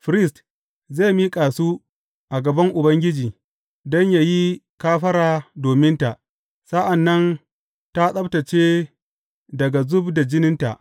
Firist zai miƙa su a gaban Ubangiji don yă yi kafara dominta, sa’an nan tă tsabtacce daga zub da jininta.